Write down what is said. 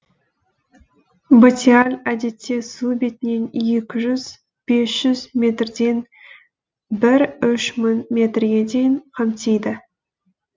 батиаль әдетте су бетінен екі жүз бес жүз метрден бір үш мың метрге дейін қамтиды